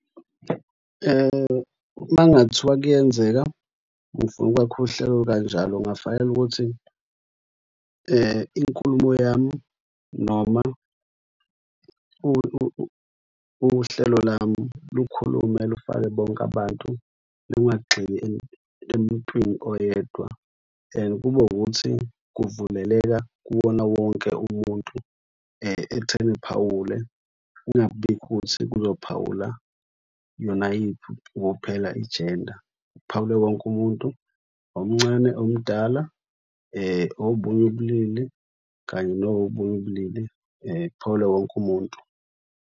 Uma kungathiwa kuyenzeka, ngifuna ukwakha uhlelo olukanjalo, kungafanele ukuthi inkulumo yami noma uhlelo lami lukhulume lufake bonke abantu lungagxili emuntwini oyedwa. Kube ukuthi kuvuleleka kuwona wonke umuntu ekutheni uphawule kungabibikho ukuthi kuzophawula yona yiphi kuphela ijenda. Kuphawule wonke umuntu omncane omdala, obunye ubulili kanye nobunye ubulili kuphawule wonke umuntu.